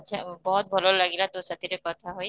ଆଛା ବହତ ଭଲ ଲାଗିଲା ତାସାହିତ କଥା ହୋଇ